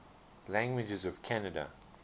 languages of canada